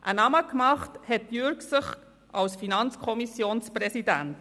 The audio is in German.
Einen Namen hat er sich als FiKo-Präsident gemacht.